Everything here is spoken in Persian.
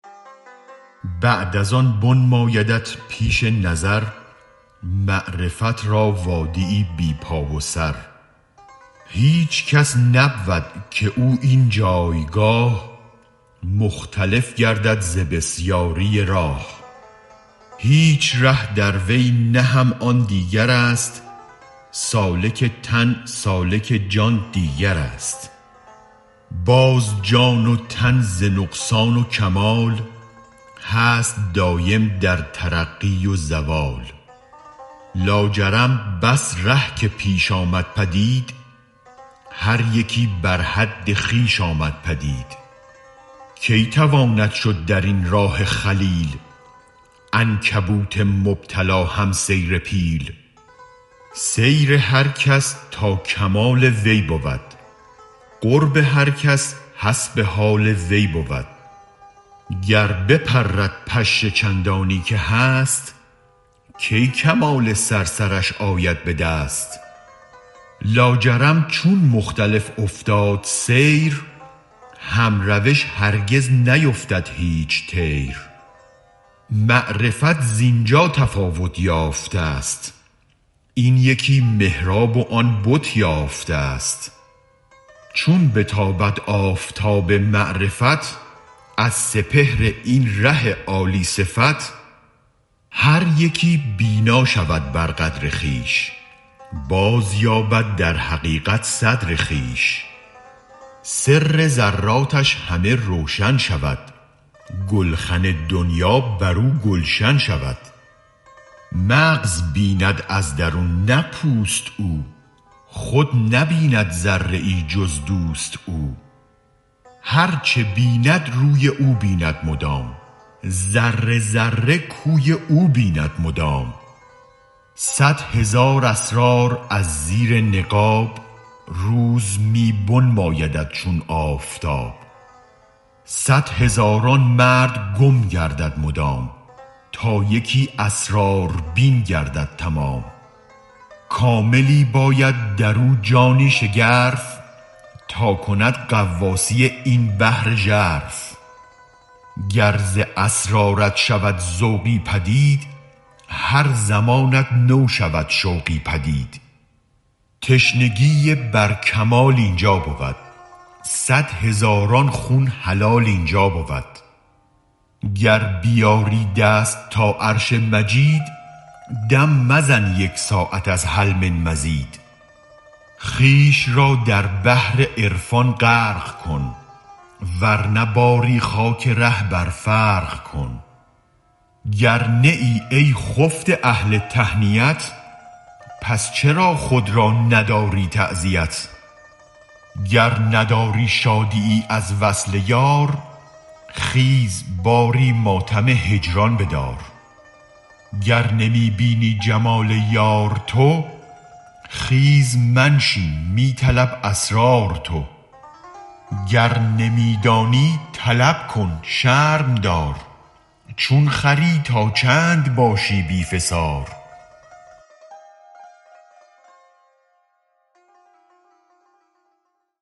بعد از آن بنمایدت پیش نظر معرفت را وادیی بی پا و سر هیچ کس نبود که او این جایگاه مختلف گردد ز بسیاری راه هیچ ره دروی نه هم آن دیگرست سالک تن سالک جان دیگرست باز جان و تن ز نقصان و کمال هست دایم در ترقی و زوال لاجرم بس ره که پیش آمد پدید هر یکی بر حد خویش آمد پدید کی تواند شد درین راه جلیل عنکبوت مبتلا هم سیر پیل سیر هر کس تا کمال وی بود قرب هر کس حسب حال وی بود گر بپرد پشه چندانی که هست کی کمال صرصرش آید بدست لاجرم چون مختلف افتاد سیر هم روش هرگز نیفتد هیچ طیر معرفت زینجا تفاوت یافتست این یکی محراب و آن بت یافتست چون بتابد آفتاب معرفت از سپهر این ره عالی صفت هر یکی بینا شود بر قدر خویش بازیابد در حقیقت صدر خویش سر ذراتش همه روشن شود گلخن دنیا برو گلشن شود مغز بیند از درون نه پوست او خود نبیند ذره ای جز دوست او هرچ بیند روی او بیند مدام ذره ذره کوی او بیند مدام صد هزار اسرار از زیر نقاب روز می بنمایدت چون آفتاب صد هزاران مرد گم گردد مدام تا یکی اسراربین گردد تمام کاملی باید درو جانی شگرف تا کند غواصی این بحر ژرف گر ز اسرارت شود ذوقی پدید هر زمانت نو شود شوقی پدید تشنگی بر کمال اینجا بود صد هزاران خون حلال اینجا بود گر بیازی دست تا عرش مجید دم مزن یک ساعت از هل من مزید خویش را در بحر عرفان غرق کن ورنه باری خاک ره بر فرق کن گر نه ای ای خفته اهل تهنیت پس چرا خود را نداری تعزیت گر نداری شادیی از وصل یار خیز باری ماتم هجران بدار گر نمی بینی جمال یار تو خیز منشین می طلب اسرار تو گر نمی دانی طلب کن شرم دار چون خری تا چند باشی بی فسار